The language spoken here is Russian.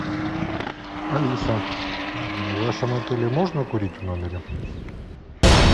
алиса в вашем отеле можно курить в номере